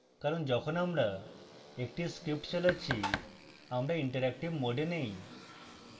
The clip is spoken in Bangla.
কারণ যখন আমরা একটি script চালাচ্ছি আমরা interactive mode নেই